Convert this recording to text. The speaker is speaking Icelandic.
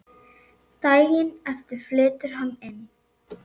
Daginn eftir flytur hann inn.